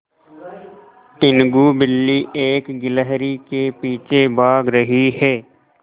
टीनगु बिल्ली एक गिल्हरि के पीछे भाग रही है